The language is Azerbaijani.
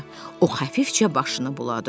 O xəfifcə başını buladı.